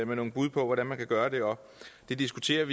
nogle bud på hvordan man kan gøre det og vi diskuterer